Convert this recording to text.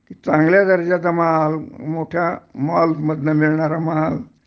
चांगल्या दर्जाचा माल मोठ्या माल्स मधनं मिळणार माल